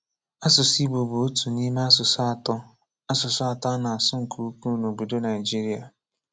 Asụsụ Igbo bụ otu n'ime asụsụ atọ asụsụ atọ a na-asụ nke ukwuu n' obodo Nigeria.